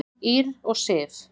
Ýrr og Sif.